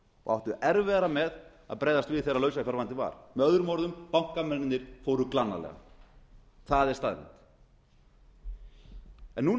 áttu erfiðara með að bregðast við þegar lausafjárvandinn var möo bankamennirnir fóru glannalega það er staðreynd núna